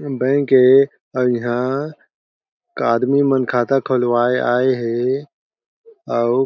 bank ए अउ इहा आदमी मन खाता खोलवाये आए हे अउ